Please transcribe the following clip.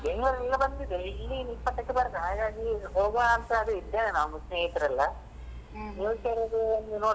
Bangalore ಅಲ್ಲಿ ಬಂದಿದೆ ಇಲ್ಲಿ ಇಪ್ಪತ್ತಕ್ಕೆ ಬರುದು ಹಾಗಾಗಿ ಹೋಗುವಂತ ಇದ್ದೇವೆ ನಾವ್ ಸ್ನೇಹಿತರೆಲ್ಲಾ ಇದೊಂದು ನೋಡಬೋದು.